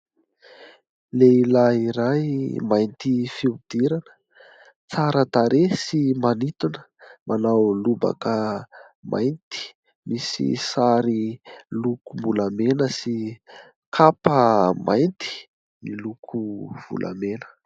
Lehilahy iray mainty fihodirana, tsara tarehy sy manintona. Manao lobaka mainty misy sary lokom-bolamena sy kapa mainty miloko volamena.